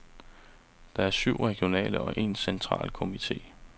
Der er syv regionale og en central komite.